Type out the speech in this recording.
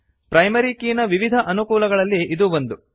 primary ಕೀನ ವಿವಿಧ ಅನುಕೂಲಗಳಲ್ಲಿ ಇದೂ ಒಂದು